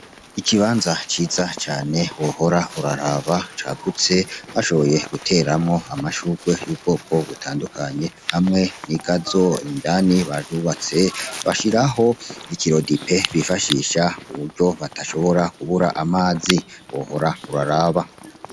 Ikibanza ciza cane wohora uraraba cagutse, bashoboye guteramwo amashurwe y'ubwoko butandukanye. Amwe n'igazo indani baryubatse bashiraho ikirodipe bifashisha kuburyo badashobora kubura amazi wohora uraraba.